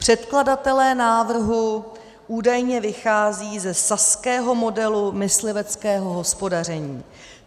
"Předkladatelé návrhu údajně vycházejí ze saského modelu mysliveckého hospodaření.